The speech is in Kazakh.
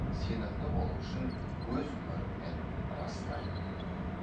сенімді болу үшін өз мөріммен растаймын